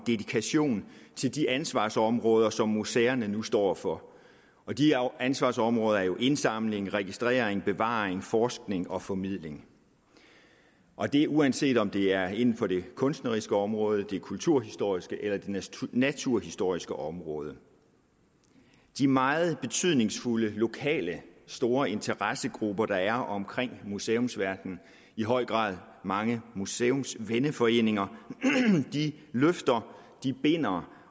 dedikation til de ansvarsområder som museerne nu står for og de ansvarsområder er jo indsamling registrering bevaring forskning og formidling og det er uanset om det er inden for det kunstneriske område det kulturhistoriske eller det naturhistoriske område de meget betydningsfulde lokale store interessegrupper der er omkring museumsverdenen i høj grad mange museumsvenneforeninger løfter binder